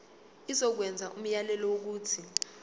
izokwenza umyalelo wokuthi